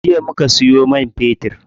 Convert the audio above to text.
Jiya muka siyo man fetir.